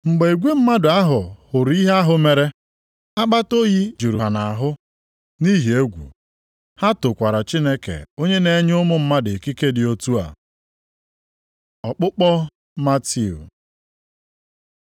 Mgbe igwe mmadụ a hụrụ ihe ahụ mere, akpata oyi jụrụ ha nʼahụ nʼihi egwu. Ha tokwara Chineke onye na-enye ụmụ mmadụ ikike dị otu a. Ọkpụkpọ Matiu